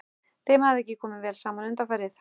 Þeim hafði ekki komið vel saman undanfarið.